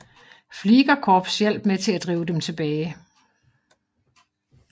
Fliegerkorps hjalp med til at drive dem tilbage